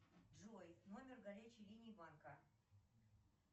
джой номер горячей линии банка